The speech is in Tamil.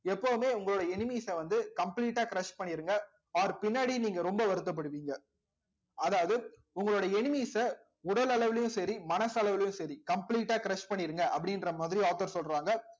எப்பவுமே உங்களோட enemies அ வந்து complete ஆ crush பண்ணீருங்க or பின்னாடி நீங்க ரொம்ப வருத்தப்படுவீங்க அதாவது உங்களுடைய enemies அ உடல் அளவுலையும் சரி மனசளவிலும் சரி complete ஆ crush பண்ணிருங்க அப்படின்ற மாதிரி author சொல்றாங்க